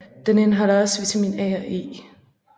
Den indeholder også vitamin A og E